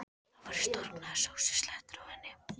Það voru storknaðar sósuslettur á henni.